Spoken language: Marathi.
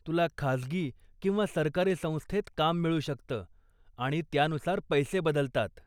तुला खाजगी किंवा सरकारी संस्थेत काम मिळू शकतं आणि त्यानुसार पैसे बदलतात.